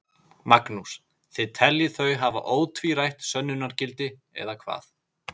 Magnús: Þið teljið þau hafa ótvírætt sönnunargildi, eða hvað?